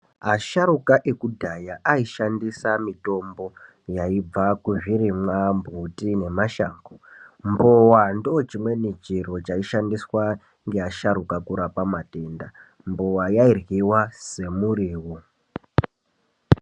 Asharuka ekudhaya aishandisa mitombo yaibva kuzvirimwa, mbuti nemashango. Mbowa ndochimweni chiro chaishandiswa ngeasharuka kurapa matenda. Mbowa yairyiwa semurivo.